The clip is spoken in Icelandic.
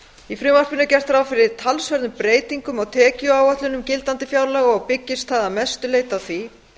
í frumvarpinu er gert ráð fyrir talsverðum breytingum á tekjuáætlun gildandi fjárlaga og byggist það að mestu leyti á því